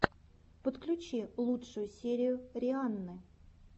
подключи лучшую серию рианны